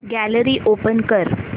gallery open कर